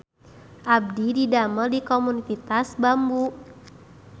Abdi didamel di Komunitas Bambu